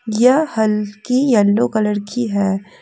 यह हल्की yellow colour की है।